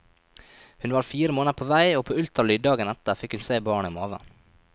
Hun var fire måneder på vei, og på ultralyd dagen etter fikk hun se barnet i maven.